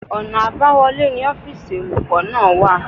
Ọ̀nà àbáwọlé ni ọ́fìsì olùkọ́ náà wà